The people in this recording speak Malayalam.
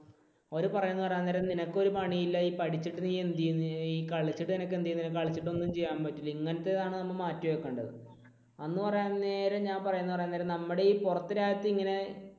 അവർ പറയുന്നത് എന്ന് പറയാൻ നേരം നിനക്ക് ഒരു പണിയില്ല. ഈ പഠിച്ചിട്ട് നീ എന്ത് ചെയ്യും, കളിച്ചിട്ട് നീ എന്ത് ചെയ്യും കളിച്ചിട്ട് നിനക്ക് ഒന്നും ചെയ്യാൻ പറ്റില്ല, ഇങ്ങനത്തേതാണ് നമ്മൾ മാറ്റി വയ്ക്കേണ്ടത്. അന്ന് പറയാൻ നേരം ഞാൻ പറയുന്നത് എന്ന് പറയാൻ നേരം നമ്മുടെ ഈ പുറത്ത് രാജ്യത്തെ ഇങ്ങനെ